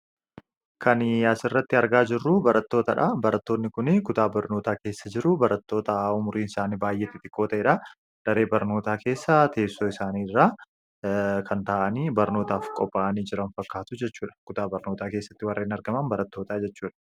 kan asirratti argaa jirru barattootaa dha. barattoonni kuni faayidaa madaalamuu hin dandeenye fi bakka bu’iinsa hin qabne qabu. Jireenya guyyaa guyyaa keessatti ta’ee, karoora yeroo dheeraa milkeessuu keessatti gahee olaanaa taphatu. Faayidaan isaa kallattii tokko qofaan osoo hin taane, karaalee garaa garaatiin ibsamuu danda'a.